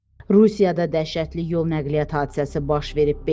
Rusiyada dəhşətli yol nəqliyyat hadisəsi baş verib.